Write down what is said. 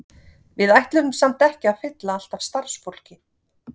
Við ætlum samt ekki að fylla allt af starfsfólki.